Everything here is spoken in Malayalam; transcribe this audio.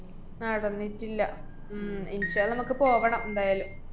നടന്നിട്ടില്ല. ഉം നമക്ക് പോകണം ന്തായാലും.